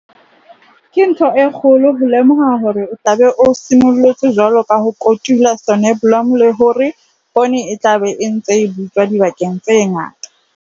Ke ntho e kgolo ho lemoha hore o tla be o simollotse jwale ho kotula soneblomo le hore poone e tla be e ntse e butswa dibakeng tse ngata.